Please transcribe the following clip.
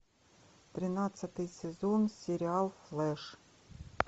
тринадцатый сезон сериал флеш